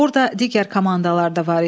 Orda digər komandalar da var idi.